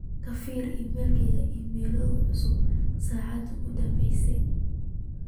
ka firi iimaylkayga iimaylo cusub saacadii u danbaysay